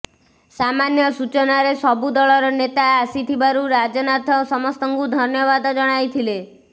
ସାମାନ୍ୟ ସୂଚନାରେ ସବୁ ଦଳର ନେତା ଆସିଥିବାରୁ ରାଜନାଥ ସମସ୍ତଙ୍କୁ ଧନ୍ୟବାଦ ଜଣାଇଥିଲେ